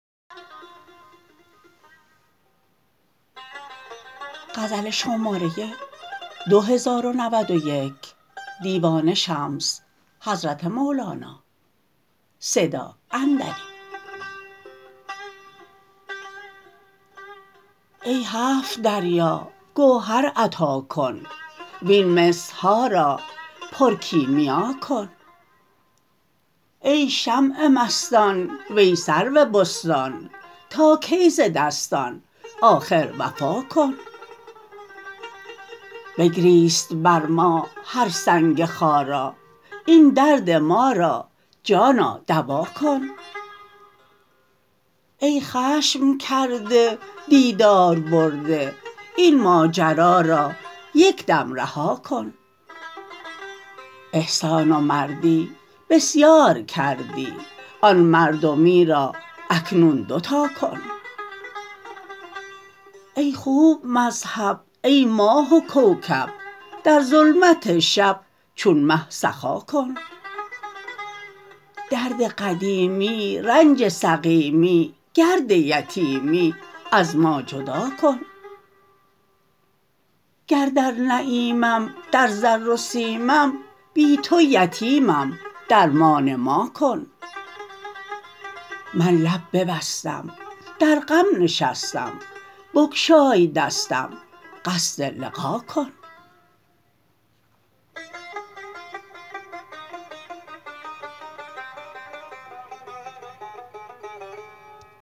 ای هفت دریا گوهر عطا کن وین مس ها را پرکیمیا کن ای شمع مستان وی سرو بستان تا کی ز دستان آخر وفا کن بگریست بر ما هر سنگ خارا این درد ما را جانا دوا کن ای خشم کرده دیدار برده این ماجرا را یک دم رها کن احسان و مردی بسیار کردی آن مردمی را اکنون دو تا کن ای خوب مذهب ای ماه و کوکب در ظلمت شب چون مه سخا کن درد قدیمی رنج سقیمی گرد یتیمی از ما جدا کن گر در نعیمم در زر و سیمم بی تو یتیمم درمان ما کن من لب ببستم در غم نشستم بگشای دستم قصد لقا کن